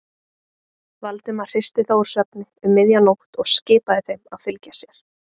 Valdimar hristi þá úr svefni um miðja nótt og skipaði þeim að fylgja sér.